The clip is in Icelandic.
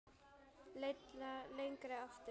Leitað lengra aftur.